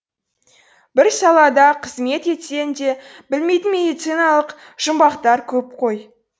бір салада қызмет етсең де білмейтін медициналық жұмбақтар көп қой